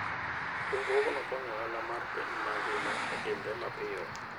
Riwruogno konyo ohala mar piny mangima otimre mapiyo.